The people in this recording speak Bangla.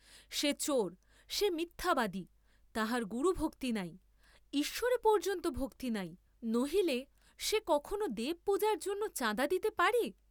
সে চোর, সে মিথ্যাবাদী, তাহার গুরুভক্তি নাই, ঈশ্ববে পর্য্যন্ত ভক্তি নাই, নহিলে সে কখনও দেবপূজার জন্য চাঁদা দিতে পারে!